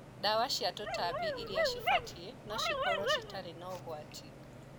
Ndawa cia tũtambi iria cibatie no cikorwo citarĩ ũgwati.